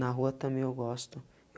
Na rua também eu gosto.